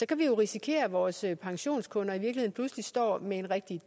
kan vi risikere at vores pensionskunder står med et rigtig